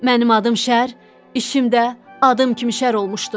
Mənim adım Şər, işim də adım kimi şər olmuşdur.